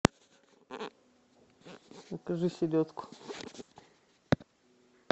закажи селедку